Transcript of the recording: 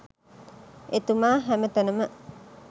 එතුමා හැම තැනම